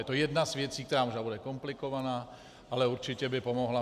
Je to jedna z věcí, která možná bude komplikovaná, ale určitě by pomohla.